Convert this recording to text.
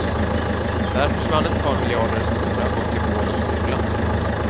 Där försvann ett par miljarder som borde ha gått till vård och skola.